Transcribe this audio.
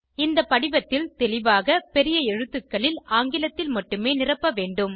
இந்த படிவத்தில் தெளிவாக பெரிய எழுத்துக்களில் ஆங்கிலத்தில் மட்டுமே நிரப்ப வேண்டும்